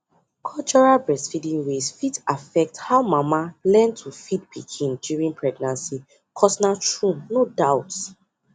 cultural breastfeeding ways fit affect how mama learn to feed pikin during pregnancy cos na true no doubt